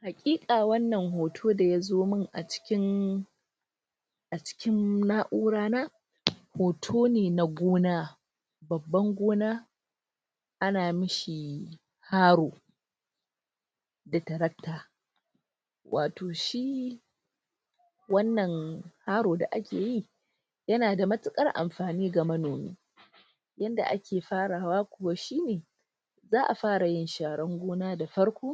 Hakika wannan hoto da ya zo mun a cikin a cikin na'ura na hoto ne na gona baban gona ana mishi faro da tararta wato shi wannan faro da ake yi yana da matukar amfani ga manoma yadda ake fara hawa koshi za'a fara yin sharan gona da farko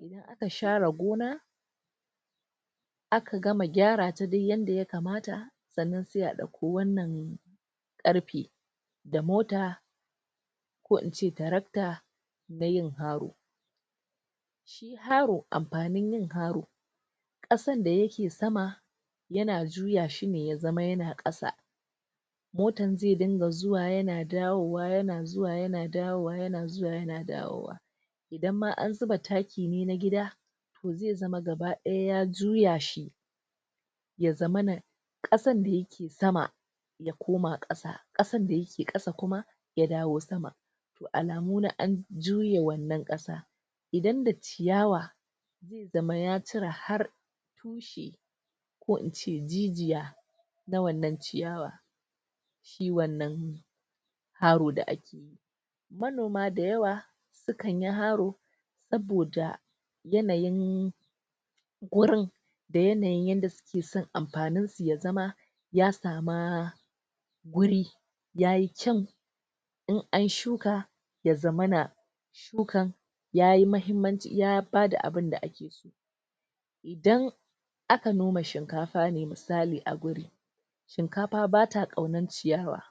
in aka share gona aka gama gyara ta duk yarda ya kamata tsanan sai a dauko wannan karfe da mota ko ince tractor dayin karo karo, amfanin yin karo kasan da yake sama yana juya shi ne ya zama yana kasa motan zai dinga zuwa yana dawowa, yana zuwa yana dawowa, yana zuwa yana dawowa dan ma in an zuba taki ne na gida toh zai zama gabadaya ya juya shi ya zamana kasan da yake sama ya koma kasa kasan da yake kasa kuma ya dawo sama alamu na juye wannan kasa idan da ciyawa da maya cira har ko ince jijiya na wannan ciyawa kiwon nan kawo da ake yi manoma da yawa sukanyi haro saboda yanayin wurin da yanayin yarda suke son amfanin su ya zama ya sama guri yayi kyaun in an shuka ya zamana kukan yayi mahimmanci, ya bada abin da ake so dan aka noma shinkafa, misali a gurin shinkafa bata kaunan ciyawa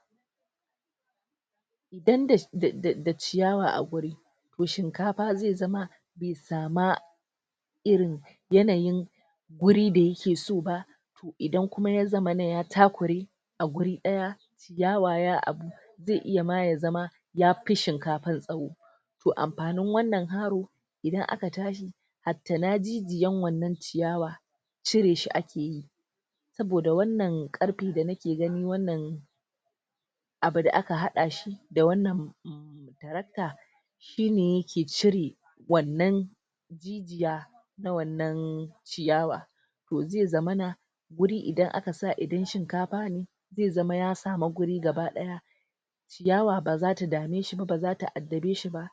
da ciyawa a guri toh shinkafa zai zama ya sama iri yanayin wuri da yake so ba idan za zamana ya takure a wuri daya ya waya abu zai iya ma ya zama ya fi shinkafan tsawo toh amfanin wannan haro idan aka chargi a tanan jijiyan wannan ciyawa cire shi ake yi saboda wannan karfi da nake gani, wannan 'abu da aka hada shi da wannan taracta shi ne yake cire wannan ya ta wannan ciyawa toh zai zamana wuri idan aka sa shinkafa ne zai zama ya sama wuri gabadaya ciyawa baza ta dame shi ba, baza ta adare shi ba